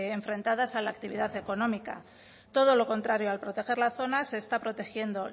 enfrentadas a la actividad económica todo lo contrario al proteger la zona se está protegiendo